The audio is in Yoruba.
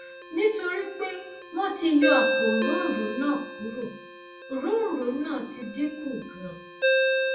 nítorí pé wọn ti yọ àpò òróǹro náà kúrò òróǹro náà ti dín kù ganan